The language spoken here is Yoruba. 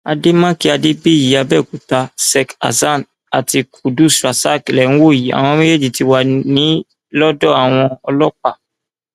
àdèmàkè adébíyì àbẹòkúta sek hasan àti kudus rasak lè ń wò yìí àwọn méjèèjì ti wá ní lọdọ àwọn ọlọpàá